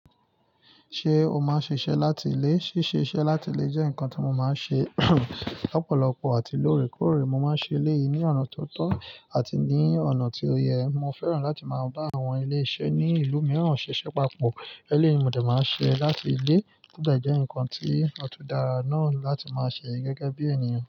Ṣé o máa ń ṣiṣẹ́ láti ilé? Síṣe iṣẹ́ láti ilé jẹ́ nǹkan tí mo máa ń ṣe lọ́pọ̀lọpọ̀ àti lóòrèkóòrè. Mo máa ń ṣe lé ìní ọ̀nà tó tọ́ àti ní ọ̀nà tí ó yẹ. Mo fẹ́ràn láti máa bá àwọn ilé-iṣẹ́ ní ìlú mìíràn ṣiṣẹ́ papọ̀. Eléyìí ni mo dà máa ń ṣe láti ilé, ó gbẹ̀jẹ́ ǹkan tí ó tó dára náà láti máa ṣe gẹ́gẹ́ bí ènìyàn.